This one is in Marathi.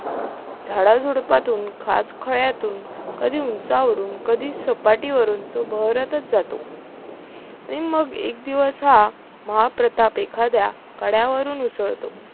झाडाझुडुपातून, खाचखळ्यातून, कधी उंचावरून कधी सपाटीवरून तो बहरतच जातो आणि मग एक दिवस हा महाप्रताप एखाद्या कड्यावरून उसळतो